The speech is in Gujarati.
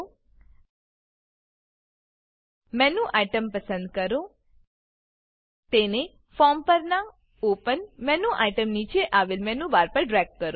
મેનું આઇટીઇએમ મેનુ આઇટમ પસંદ કરો તેને ફોર્મ પરનાં ઓપન ઓપન મેનુ આઇટમ નીચે આવેલ મેનુ બાર પર ડ્રેગ કરો